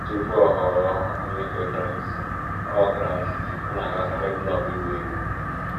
Tupu ọ ghọọ Onye nke Kraịst, ọ Kraịst, ọ na-agakarị klọb ịgba egwú.